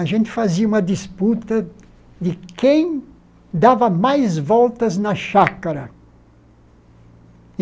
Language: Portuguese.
A gente fazia uma disputa de quem dava mais voltas na chácara.